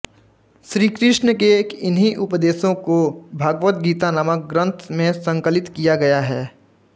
श्री कृष्ण के इन्हीं उपदेशों को भगवत गीता नामक ग्रंथ में संकलित किया गया है